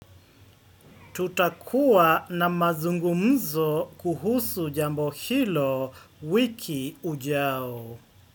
Tutakua na mazungumzo kuhusu jambo hilo wiki ujao.